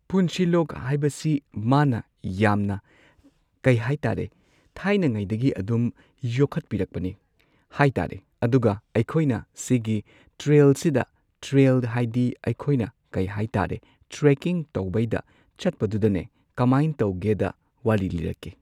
ꯄꯨꯟꯁꯤꯂꯣꯛ ꯍꯥꯢꯕꯁꯤ ꯃꯥꯅ ꯌꯥꯝꯅ ꯀꯩꯍꯥꯏꯇꯥꯔꯦ ꯊꯥꯏꯅꯉꯩꯗꯒꯤ ꯑꯗꯨꯝ ꯌꯣꯛꯈꯠꯄꯤꯔꯛꯄꯅꯦ ꯍꯥꯏꯇꯥꯔꯦ ꯑꯗꯨꯒ ꯑꯩꯈꯣꯏꯅ ꯁꯤꯒꯤ ꯇ꯭ꯔꯦꯜꯁꯤꯗ ꯇ꯭ꯔꯦꯜ ꯍꯥꯏꯗꯤ ꯑꯩꯈꯣꯏꯅ ꯀꯩ ꯍꯥꯏꯇꯥꯔꯦ ꯇ꯭ꯔꯦꯀꯤꯡ ꯇꯧꯕꯩꯗ ꯆꯠꯄꯗꯨꯗꯅꯦ ꯀꯃꯥꯏ ꯇꯧꯒꯦꯗ ꯋꯥꯔꯤ ꯂꯤꯔꯛꯀꯦ꯫